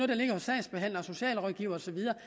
der ligger hos sagsbehandlere og socialrådgivere og så videre